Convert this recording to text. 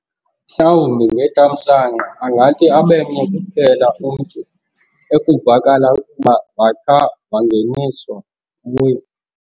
Mhlawumbi ngethamsanqa angathi abemnye kuphela umntu ekuvakala ukuba wakha wangeniswa kuyo.